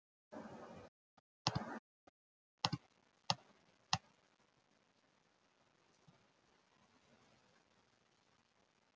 Þvottalaugarnar í Laugardal sem byrjað var á